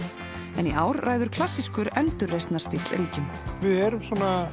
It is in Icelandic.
en í ár ræður klassískur endurreisnarstíll ríkjum við erum